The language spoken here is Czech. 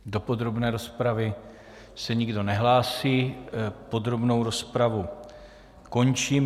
Do podrobné rozpravy se nikdo nehlásí, podrobnou rozpravu končím.